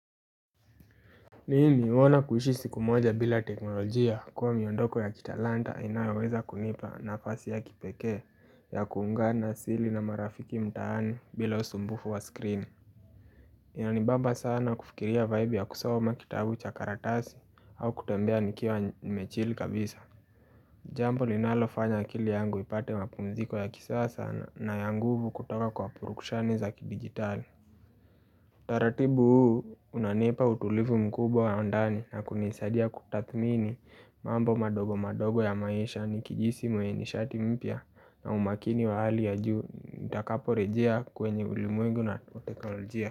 Mimi huona kuishi siku moja bila teknolojia kuwa miondoko ya kitalanta inayoweza kunipa nafasi ya kipeke ya kuungana asili na marafiki mtaani bila usumbufu wa screen Inanibamba sana kufikiria vibe ya kusoma makitabu cha karatasi au kutembea nikiwa nime chilll kabisa Jambo linalofanya akili yangu ipate mapumziko ya kisasa sana na ya nguvu kutoka kwa purukshani za kidigitali taratibu huu unanipa utulivu mkubwa wa ndani na kunisadia kutathmini mambo madogo madogo ya maisha ni kijihisi mwenye nishati mpya na umakini wa hali ya juu nitakapo rejea kwenye ulimwengu na uteknolojia.